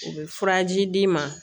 U bɛ furaji d'i ma